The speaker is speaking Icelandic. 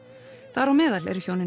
þar á meðal eru hjónin